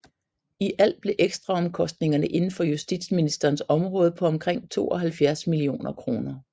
I alt blev ekstraomkostningerne inden for justitsministerens område på omkring 72 millioner kroner